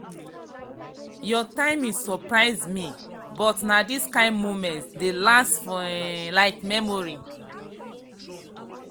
your timing surprise me me but na these kind moments dey last for um memory.